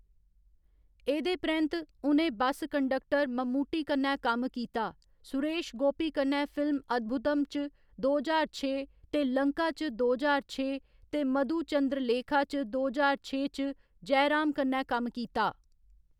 एह्‌‌‌दे परैंत्त, उ'नें बस कंडक्टर मम्मुट्टी कन्नै कम्म कीता, सुरेश गोपी कन्नै फिल्म अद्भुदम् च दो ज्हार छे ते लंका च दो ज्हार छे, ते मधुचंद्रलेखा च दो ज्हार छे च जयराम कन्नै कम्म कीता।